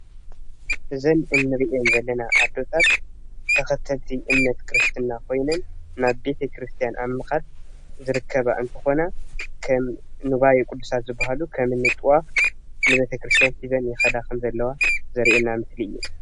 እዚ ንርኤን ዘለና ኣዴታት ተከተልቲ እምነት ክርስትና ኮይነን ናብ ቤተ ክርስትያ ኣብ ምካድ ዝርከባ እንትኮና ከም ንዋይ ቁድሳን ዝበሃሉ ከም እንጥዋፍ ንቤተ ክርስትያን ሒዘን ይከዳ ከን ዘለዋ ዘርኢና ምስሊ እዩ።